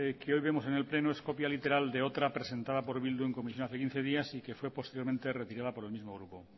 que hoy vemos en el pleno es copia literal de otra presentada por bildu en comisión hace quince días y que fue posteriormente retirada por el mismo grupo